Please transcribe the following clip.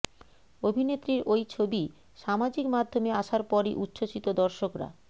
অভিনেত্রীর ওই ছবি সামাজিক মাধ্যমে আসার পরই উচ্ছ্বসিত দর্শকরা